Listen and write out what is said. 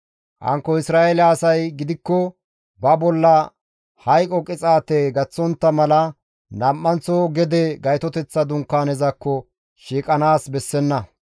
Hankko Isra7eele asay gidikko ba bolla hayqo qixaate gaththontta mala nam7anththo gede Gaytoteththa Dunkaanezakko shiiqanaas bessenna.